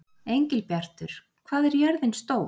Engilbjartur, hvað er jörðin stór?